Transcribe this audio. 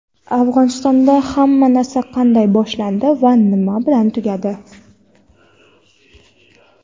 Afg‘onistonda hamma narsa qanday boshlandi va nima bilan tugadi.